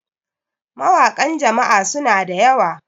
mawakan Jama'a suna da yawa